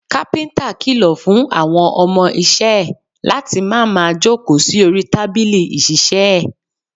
Kápíntà kìlọ̀ fún àwọn ọmọ isẹ́ ẹ̀ láti má máa jókòó sí orí tábìlì ìṣiiṣẹ́ ẹ̀